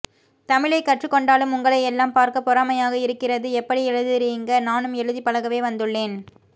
தமிழை கற்றுக்கொண்டாலும் உங்களை எல்லாம் பார்க்க பொறாமையாக இருக்கிறது எப்படி எழுதுறீங்க நானும் எழுதிப் பழகவே வந்துள்ளேன்